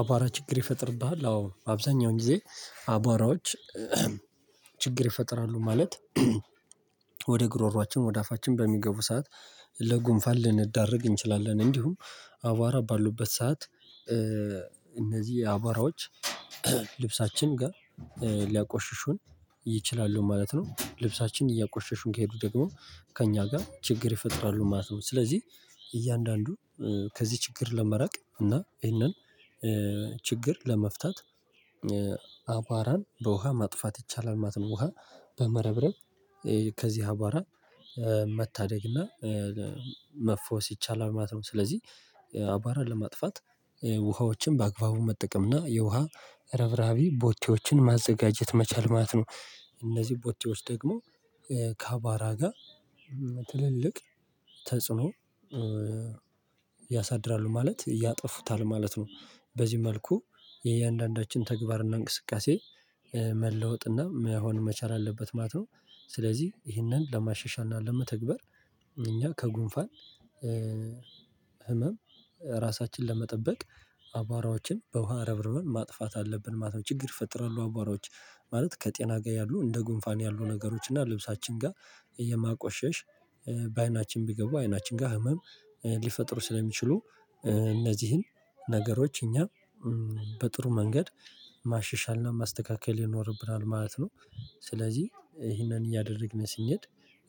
አቧራ ችግር ይፈጥርብሃል? አዎ አብዛኛውን ጊዜ አቧራዎች ችግር ይፈጥራሉ ማለት ወደ ጉሮሮአችን ወደ አፋችን በሚገቡ ሰዓት ለጉንፋል ልንዳርግ እንችላለን። እንዲሁም አቧራ ባሉበት ሰዓት እነዚህ አቧራዎች ልብሳችን ጋር ሊያቆሽሹን ይችላሉ ማለት ነው። ልብሳችን እያቆሸሹን ከሄዱ ደግሞ ከእኛ ጋር ችግር ይፈጥራሉ ማለት ነው። ስለዚህ እያንዳንዱ ከዚህ ችግር ለመራቅ እና ይሄንን ችግር ለመፍታት አቧራን በውሃ ማጥፋት ይቻላል። ማተን ውሃ በመረብረብ ከዚህ አቧራ መታደግና መፈወስ ይቻላል ማለት ነው። ስለዚህ አባራን ለማጥፋት ውሃዎችን በአግባቡ መጠቀም እና የውሃ ረብረሃቢ ቦቻዎችን ማዘጋጀት መቻል ማለት ነው። እነዚህ ቦቴዎች ደግሞ ካባራ ጋር ትልልቅ ተጽዕኖ ያሳድራሉ ማለት ያጠፉታል ማለት ነው። በዚህ መልኩ የእያንዳንዳችን ተግባርና እንቅስቃሴ መለወጥና መሆን መቻል አለበት ማለት ነው። ስለዚህ ይህንን ለማሻሻል እና ለመተግበር እኛ ከጉንፋን ህመም ራሳችንን ለመጠበቅ አቧራዎችን በውሃ ረብርበን ማጥፋት አለብን። ማለት ችግር ይፈጥራሉ አቧራዎች ማለት ከጤና ጋር ያሉ እንደ ጉንፋን ያሉ ነገሮች እና ልብሳችን ጋር የማቆሸሽ በአይናችን ቢገቡ አይናችን ጋር ህመም ሊፈጥሩ ስለሚችሉ እነዚህን ነገሮች እኛ በጥሩ መንገድ ማሸሻልና ማስተካከል ይኖርብናል ማለት ነው። ስለዚህ ይሄንን እያደረግን ሲነድ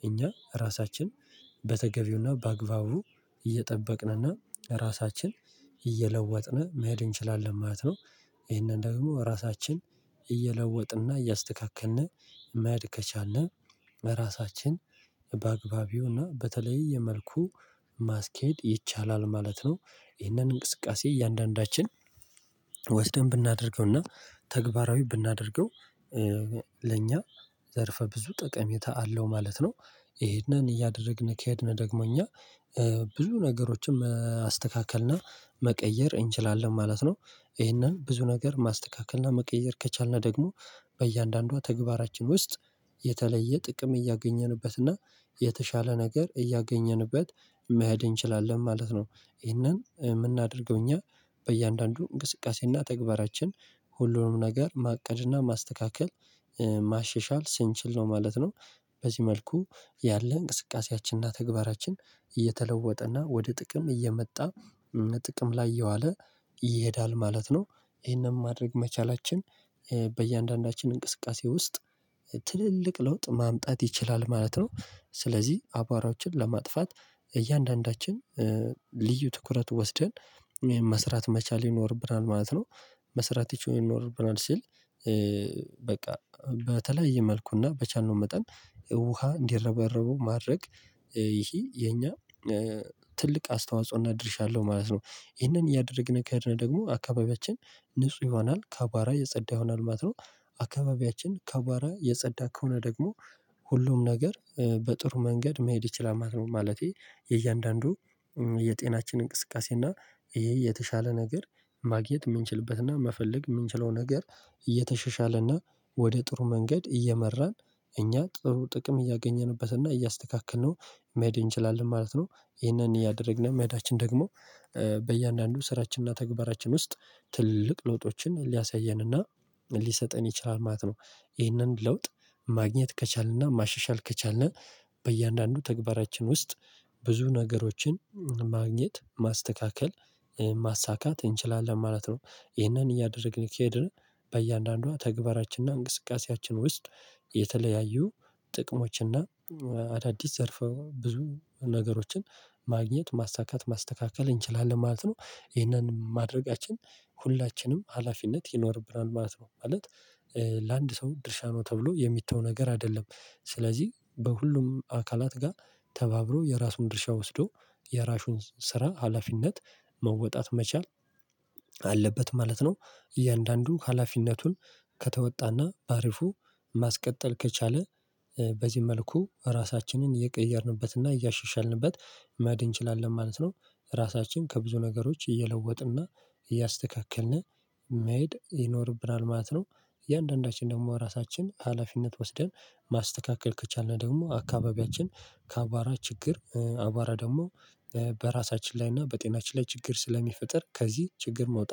እኛ ራሳችን በተገቢውና በአግባቡ እየጠበቅንና ራሳችን እየለወጥን መሄድ እንችላለን ማለት ነው። ይሄንን ደግሞ ራሳችን እየለወጥንና እያስተካከልን መድከቻልን በራሳችን በአግባቢውና በተለይ የመልኩ ማስኬድ ይቻላል ማለት ነው። ይህንን እንቅስቃሴ እያንዳንዳችን ወስደን ብናደርገውና ተግባራዊ ብናደርገው ለእኛ ዘርፈ ብዙ ጠቀሜታ አለው ማለት ነው። ይሄንን እያደረግን ከሄድን ደግሞ እኛ ብዙ ነገሮችን አስተካክልና መቀየር እንችላለን ማለት ነው። ይሄንን ብዙ ነገር ማስተካከልና መቀየር ከቻልን ደግሞ በእያንዳንዷ ተግባራችን ውስጥ የተለየ ጥቅም እያገኘንበትና የተሻለ ነገር እያገኘንበት መሄድ እንችላለን ማለት ነው። ይሄንን የምናደርገው እኛ በእያንዳንዱ እንቅስቃሴና ተግባራችን ሁሉንም ነገር ማቀድና ማስተካከል ማሸሻል ስንችል ነው ማለት ነው። በዚህ መልኩ ያለ እንቅስቃሴያችንና ተግባራችን እየተለወጠ እና ወደ ጥቅም እየመጣ ጥቅም ላይ የዋለ ይሄዳል ማለት ነው። ይሄንን ማድረግ መቻላችን በእያንዳንዳችን እንቅስቃሴ ውስጥ ትልልቅ ለውጥ ማምጣት ይችላል ማለት ነው። ስለዚህ አቧራዎችን ለማጥፋት እያንዳንዳችን ልዩ ትኩረት ወስደን መስራት መቻል ይኖርብናል ማለት ነው። መስራት ይቺውን ኖርብናል ሲል በቃ በተለየ መልኩና በቻልነው መጠን ውሃ እንዲረባረቡ ማድረግ ይሄ የኛ ትልቅ አስተዋጽኦና ድርሻለሁ ማለት ነው። ይህንን እያደረግን ከሄድን ደግሞ አካባቢያችን ንጹህ ይሆናል ካባራ የጸዳ ይሆናል ማለት ነው። አካባቢያችን ከባራ የጸዳ ከሆነ ደግሞ ሁሉም ነገር በጥሩ መንገድ መሄድ ይችላል። ማለቴ የእያንዳንዱ የጤናችን እንቅስቃሴ እና ይሄ የተሻለ ነገር ማግኘት የምንችልበትና መፈለግ የምንችለው ነገር እየተሸሻለና ወደ ጥሩ መንገድ እየመራን እኛ ጥሩ ጥቅም እያገኘንበትና እያስተካከልነው መሄድ እንችላለን ማለት ነው። ይሄንን እያደረግን መሄዳችን ደግሞ በእያንዳንዱ ስራችንና ተግባራችን ውስጥ ትልቅ ለውጦችን ሊያሳየንና ሊሰጠን ይችላል ማለት ነው። ይህንን ለውጥ ማግኘት ከቻልንና ማሻሻል ከቻልን በእያንዳንዱ ተግባራችን ውስጥ ብዙ ነገሮችን ማግኘት ማስተካከል ማሳካት እንችላለን ማለት ነው። ይህንን እያደረግን ከሄድን በእያንዳንዷ ተግባራችንና እንቅስቃሴያችን ውስጥ የተለያዩ ጥቅሞችና አዳዲስ ዘርፈው ብዙ ነገሮችን ማግኘት ማሳካት ማስተካከል እንችላለን ማለት ነው። ይሄንን ማድረጋችን ሁላችንም ሀላፊነት ይኖርብናል ማለት ነው። ማለት ለአንድ ሰው ድርሻ ነው ተብሎ የሚተው ነገር አይደለም። ስለዚህ በሁሉም አካላት ጋር ተባብሮ የራሱን ድርሻ ወስዶ የራሹን ስራ ሀላፊነት መወጣት መቻል አለበት ማለት ነው። እያንዳንዱ ሀላፊነቱን ከተወጣና በአሪፉ ማስቀጠል ከቻለ በዚህ መልኩ ራሳችንን የቀየርንበትና እያሻሻልንበት መድ እንችላለን ማለት ነው። ራሳችን ከብዙ ነገሮች እየለወጥና እያስተካከልን መይሄድ ይኖርብናል ማለት ነው። እያንዳንዳችን ደግሞ ራሳችን ሀላፊነት ወስደን ማስተካከል ከቻልን ደግሞ አካባቢያችን ከአባራ ችግር አባራ ደግሞ በራሳችን ላይ እና በጤናችን ላይ ችግር ስለሚፈጥር ከዚህ ችግር መውጣት